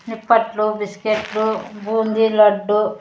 నిప్పట్లు బిస్కట్లు బుంది లడ్డు.